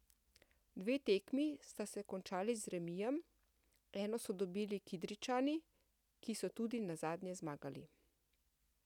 Dve tekmi sta se končali z remijem, eno so dobili Kidričani, ki so tudi nazadnje zmagali.